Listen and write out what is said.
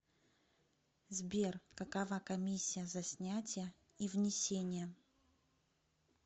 сбер какова комиссия за снятия и внесения